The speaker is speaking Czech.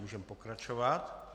Můžeme pokračovat.